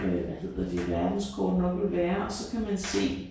Øh hvad hedder de verdenskort nok vil være og så kan man se